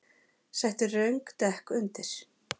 Settu röng dekk undir